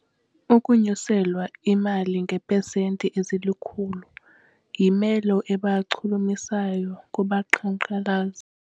Ukunyuselwa imali ngeepesenti ezilikhulu yimelo ebachulumachisayo kubaqhankqalazi.